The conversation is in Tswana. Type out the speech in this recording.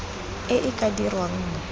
e e ka dirwang mo